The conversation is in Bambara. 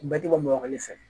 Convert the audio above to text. Bɛɛ tɛ bɔ bamakɔli fɛ